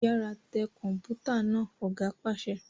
Yàrá tẹ Kọ̀npútà náà! Ọ̀gá pàṣẹ.